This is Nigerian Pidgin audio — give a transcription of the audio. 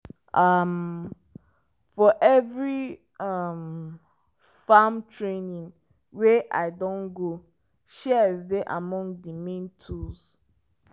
um for every um farm training wey i don go shears dey among the main tools.